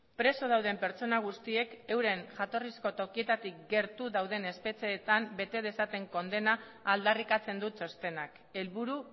preso dauden pertsona guztiek euren jatorrizko tokietatik gertu dauden espetxeetan bete dezaten kondena aldarrikatzen du txostenak helburu